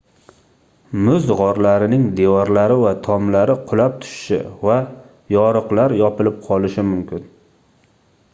muz gʻorlarining devorlari va tomlari qulab tushishi va yoriqlar yopilib qolishi mumkin